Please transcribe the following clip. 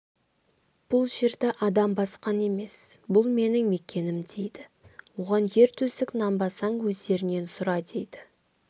бұл жерді адам басқан емес бұл менің мекенім дейді оған ер төстік нанбасаң өздерінен сұра дейді